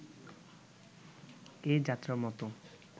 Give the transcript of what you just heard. এ-যাত্রার মতো